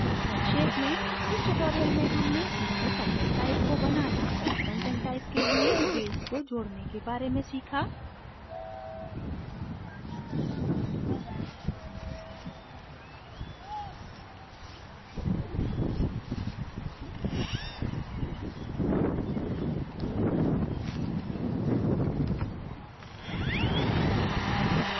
संक्षेप में इस tutorial में हमने नए content type को बनाना और content type के लिए fields को जोडने के बारे में सीखा